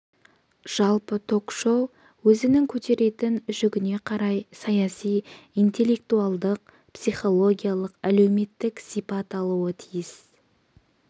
жалпы ток-шоу өзінің көтеретін жүгіне қарай саяси интеллектуалдық психологиялық әлеуметтік сипат алуы тиіс